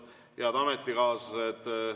Head ametikaaslased!